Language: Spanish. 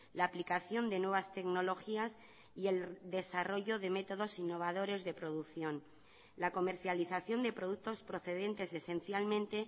la aplicación de nuevas tecnologías y el desarrollo de métodos innovadores de producción la comercialización de productos procedentes esencialmente